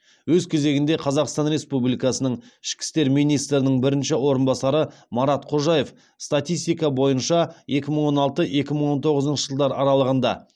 өз кезегінде қазақстан республикасының ішкі істер министрінің бірінші орынбасары марат қожаев статистика бойынша екі мың он алты екі мың он тоғызыншы жылдар аралығында